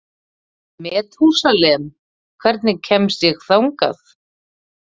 Methúsalem, hvernig kemst ég þangað?